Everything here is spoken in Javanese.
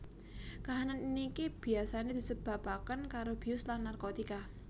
Kahanan niki biasane disebabaken karo bius lan narkotika